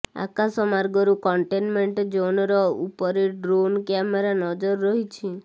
ଆକାଶ ମାର୍ଗରୁ କଣ୍ଟେମେଣ୍ଟ୍ ଜୋନ୍ର ଉପରେ ଡ୍ରୋନ କ୍ୟାମେରା ନଜର ରଖିଛି